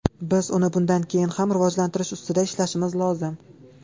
Biz uni bundan keyin ham rivojlantirish ustida ishlashimiz lozim.